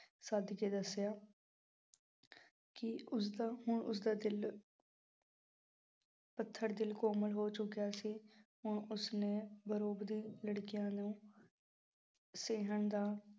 ਸੱਦ ਕੇ ਦੱਸਿਆ ਕਿ ਉਸਦਾ ਹੁਣ ਉਸਦਾ ਦਿਲ ਪੱਥਰ ਦਿਲ ਕੋਮਲ ਹੋ ਚੁੱਕਿਆ ਸੀ, ਹੁਣ ਉਸਨੇ ਲੜਕੀਆਂ ਨੂੰ ਸਹਿਣ ਦਾ